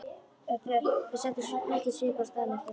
Þau settu mikinn svip á staðinn eftir það.